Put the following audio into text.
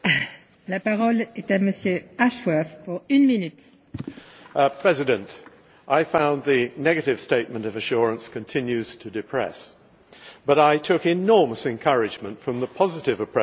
Madam President, I found the negative statement of assurance continues to depress, but I took enormous encouragement from the positive approach taken by both the auditors and the Commissioner.